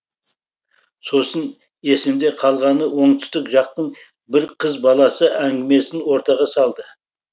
сосын есімде қалғаны оңтүстік жақтың бір қыз баласы әңгімесін ортаға салды